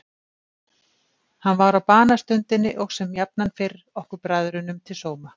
Hann var á banastundinni og sem jafnan fyrr okkur bræðrunum til sóma.